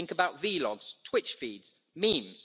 Think about vlogs, twitch feeds, memes.